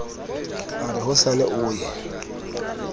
a re hosane o ye